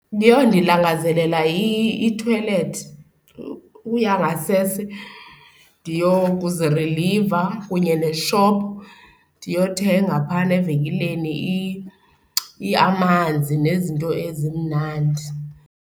Yho, ndilangazelela ithoyilethi, ukuya ngasese ndiyokuziriliva, kunye ne-shop ndiyothenga phana evenkileni amanzi nezinto ezimnandi.